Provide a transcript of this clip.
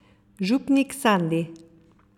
Župnik Sandi!